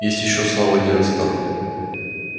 есть ещё слава герострата